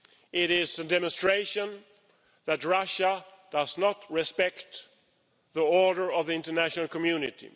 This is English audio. it is a demonstration that Russia does not respect the order of the international community.